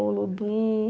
O Olodum.